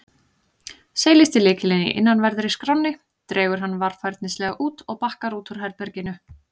Seilist í lykilinn í innanverðri skránni, dregur hann varfærnislega út og bakkar út úr herberginu.